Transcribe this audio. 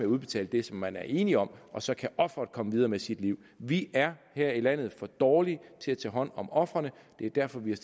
udbetale det som man er enige om og så kan offeret komme videre med sit liv vi er her i landet for dårlige til at tage hånd om ofrene det er derfor vi